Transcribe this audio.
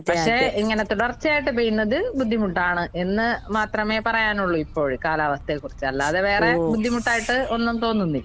പക്ഷെ ഇങ്ങനെ തുടർച്ചയായിട്ട് പെയ്യുന്നത് ബുദ്ധിമുട്ടാണ് എന്ന് മാത്രമേ പറയാനൊള്ളൂ ഇപ്പോഴ് കാലാവസ്ഥയെ കുറിച്ച്. അല്ലാതെ വേറെ ബുദ്ധിമുട്ടായിട്ട് ഒന്നും തോന്നുന്നില്ല.